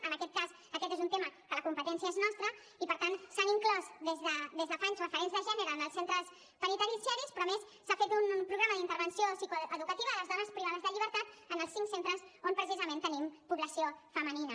en aquest cas aquest és un tema que la competència és nostra i per tant s’han inclòs des de fa anys referents de gènere en els centres penitenciaris però a més s’ha fet un programa d’intervenció psicoeducativa a les dones privades de llibertat en els cinc centres on precisament tenim població femenina